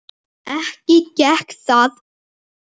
Ekki gekk það eftir.